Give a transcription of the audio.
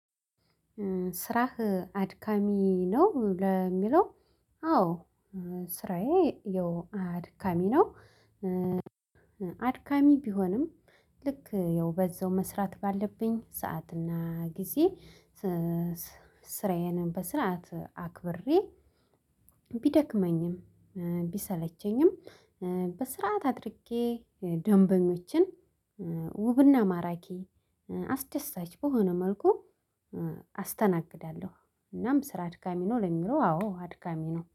ስራህ አድካሚ ነው ለሚለው አዎ ስራዬ ያው አድካሚ ነው። ኧ አድካሚ ቢሆንም ልክ ያው በዛው መስራት ባለብኝ ሰዓት እና ጊዜ ኧ ስራዬንም በስርዓት አክብሬ ቢደክመኝም ቢሰለቸኝም በስርዓት አድርጌ ደንበኞችን ውብና ማራኪ አስደሳች በሆነ መልኩ ኧ አስተናግዳለሁ። እናም ስራ አድካሚ ነው ለሚለው አዎ አድካሚ ነው